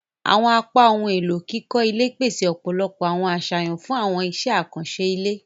Awọn apá ohùn elo kíkọ ilé pese ọpọlọpọ awọn aṣayan fun awọn iṣẹ akanṣe ilé.